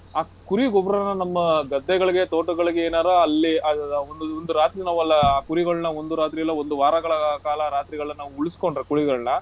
ಆ ಕುರಿ ಗೊಬ್ರಾನಾ ನಮ್ಮ ಗದ್ದೆಗಳ್ಗೆ ತೋಟಗಳ್ಗೇನಾರಾ ಅಲ್ಲಿ ಆಹ್ ಒಂದು ಒಂದ್ ರಾತ್ರಿ ನಾವೆಲ್ಲ ಕುರಿಗಳನ್ನ ಒಂದು ರಾತ್ರಿ ಇಲ್ಲಾ ಒಂದು ವಾರಗಳ ಕಾಲ ರಾತ್ರಿಗಳನ್ನ ನಾವು ಉಳಿಸ್ಕೊಂಡ್ರೆ ಕುರಿಗಳನ್ನ,